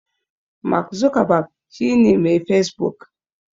Mark Zuckerberg shi ne Mai Facebook.